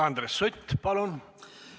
Andres Sutt, palun!